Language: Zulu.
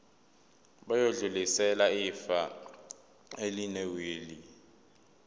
bayodlulisela ifa elinewili